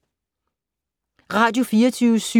Radio24syv